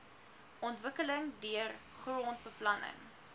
ontwikkeling deur grondbeplanning